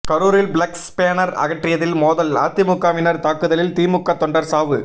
கரூரில் flex banner அகற்றியதில் மோதல் அதிமுகவினர் தாக்குதலில் திமுக தொண்டர் சாவு